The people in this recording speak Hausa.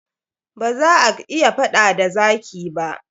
Ba za ak iya faɗ da zaki ba.